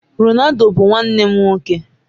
Ronaldo bụ nwanne m nwoke.